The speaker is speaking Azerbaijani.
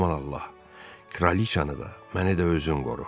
Aman Allah, kraliçanı da, məni də özün qoru.